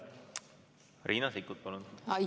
Riina Sikkut, palun!